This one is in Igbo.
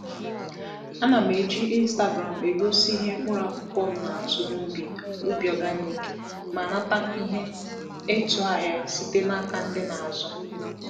A na m eji Instagram egosi ihe mkpụrụ akwụkwọ m na-eto n’ubi organic ma nata ihe ịtụ ahịa site n'aka ndị na-azụ.